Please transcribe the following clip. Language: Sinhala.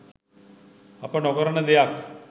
අප නොකරන දෙයක්